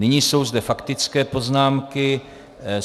Nyní jsou zde faktické poznámky.